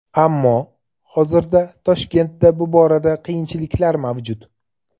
Ammo hozirda Toshkentda bu borada qiyinchiliklar mavjud.